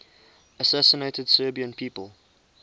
assassinated serbian people